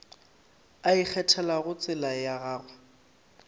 a ikgethelago tsela ya gagwe